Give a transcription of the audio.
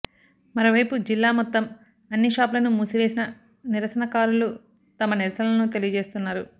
మరో వైపు జిల్లా మొత్తం అన్ని షాపులను మూసివేసిన నిరసనకారులు తమ నిరసనలు తెలియజేస్తున్నారు